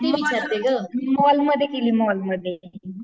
मॉलमध्ये केली मॉलमध्ये